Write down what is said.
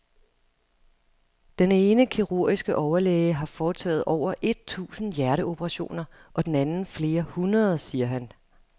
Den ene kirurgiske overlæge har foretaget over et tusind hjerteoperationer og den anden flere hundrede, siger han.